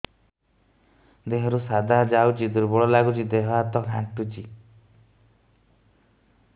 ଦେହରୁ ସାଧା ଯାଉଚି ଦୁର୍ବଳ ଲାଗୁଚି ଦେହ ହାତ ଖାନ୍ଚୁଚି